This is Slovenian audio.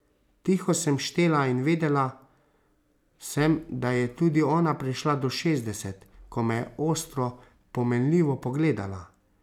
Tiho sem štela in vedela sem, da je tudi ona prišla do šestdeset, ko me je ostro, pomenljivo pogledala.